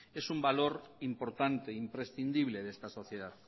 es un valor importante imprescindible de esta sociedad